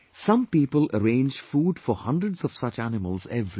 Some people arrange food for hundreds of such animals every day